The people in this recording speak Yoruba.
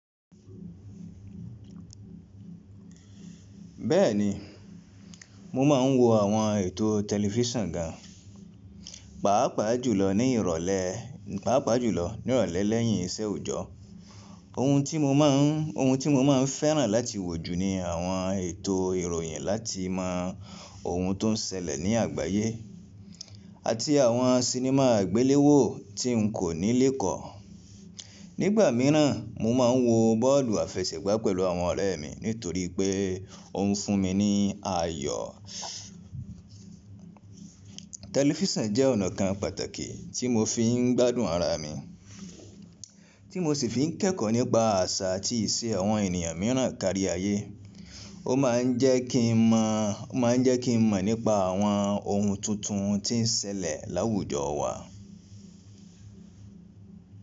Bẹ́ẹ̀ni, mo máa ń wo àwọn ètò tẹlifísàn gan, pàápàá jùlọ ní ìrọ̀lẹ́ lẹ́yìn ìṣẹ́ òòjọ́. Ohun tí mo máa ń fẹ́ràn láti wò jù ni àwọn ètò ìròyìn láti mọ ohun tó ń ṣẹlẹ̀ ní àgbáyé, àti àwọn sinimá àgbiléwò tí n kò ní lékọ̀ọ́. Nígbà mìíràn, mo máa ń wo bọ́ọ̀lù àfẹṣẹ̀gbá pẹ̀lú àwọn ọ̀rẹ́ mi nítorí pé òun fún mi ní ayọ̀. Tẹlifisiọ̀n jẹ́ ọ̀nà kan pàtakí tí mo fi ń gbádùn ara mi, tí mo sì fi ń kẹ́kọ̀ọ́ nípa àṣà àti ìṣe àwọn ènìyàn mìíràn kárí ayé. Ó máa ń jẹ́ kí n mọ̀ nípa àwọn ohun tuntun tí ń ṣẹlẹ̀ láwùjọ wa.